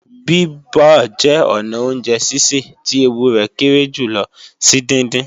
Bíbọ̀ jẹ́ ọnà oúnjẹ sísè tí ewu rẹ̀ kéré jùlọ sí díndín